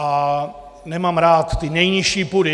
A nemám rád ty nejnižší pudy.